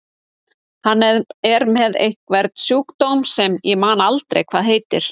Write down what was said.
Hann er með einhvern sjúkdóm sem ég man aldrei hvað heitir.